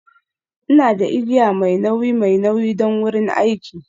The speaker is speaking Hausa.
Ina da igiya mai nauyi mai nauyi don wurin aiki.